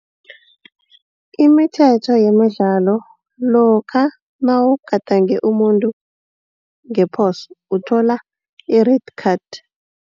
Imilithetho yemidlalo lokha nawugadange umuntu ngephoso uthola i-red card.